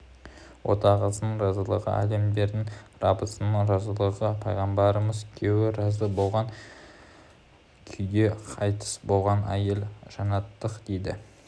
отағасының разылы әлемдердің раббысының разылығы пайғамбарымыз күйеуі разы болған күйде қайтыс болған әйел жәннаттық дейді